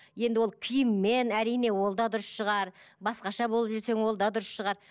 енді ол киіммен әрине ол да дұрыс шығар басқаша болып жүрсең ол да дұрыс шығар